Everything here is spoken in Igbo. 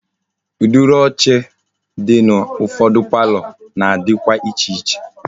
Udiri oche di na ufodu palọ na-adikwa iche iche.